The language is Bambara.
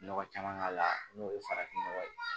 Nɔgɔ caman k'a la n'o ye farafin nɔgɔ ye